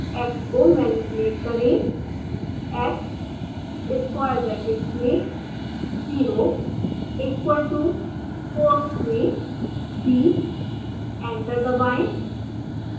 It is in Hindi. x को मेनिप्युलेट करें